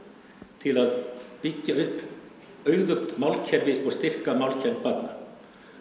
til að byggja upp auðugt málkerfi og styrka málkennd barna